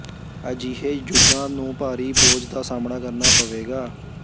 ਅਜਿਹੇ ਜੁੱਗਾਂ ਨੂੰ ਭਾਰੀ ਬੋਝ ਦਾ ਸਾਮ੍ਹਣਾ ਕਰਨਾ ਪਵੇਗਾ